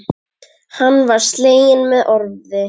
Hann var sleginn með orfi.